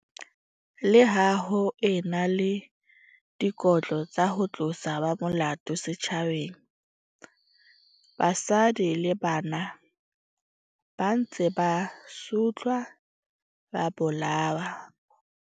Le ha ho e na le dikotlo tsa ho tlosa ba molato setjhabeng, basadi le bana ba ntse ba sotlwa ba bolawa.